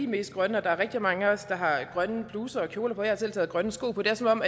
mest grønne der er rigtig mange af os der har grønne bluser og kjoler på jeg har selv taget grønne sko på det er som om